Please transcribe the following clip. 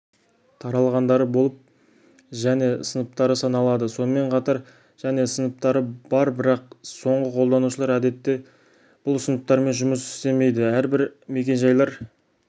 таралғандары болып және сыныптары саналады сонымен қатар және сыныптары бар бірақ соңғы қолданушылар әдетте бұл сыныптармен жұмыс істемейді әрбір мекен-жайлар